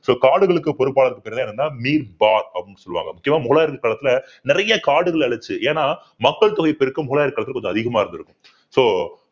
so காடுகளுக்கு பொறுப்பாளர் என்னன்னா அப்படின்னு சொல்லுவாங்க முக்கியமா முகலாயர் காலத்துல நிறைய காடுகளை அழிச்சு ஏன்னா மக்கள் தொகை பெருக்கம் முகலாயர் காலத்துல கொஞ்சம் அதிகமா இருந்திருக்கும் so